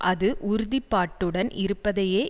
அது உறுதிப்பாட்டுடன் இருப்பதையே